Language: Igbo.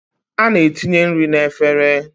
A na-etinye nri n'efere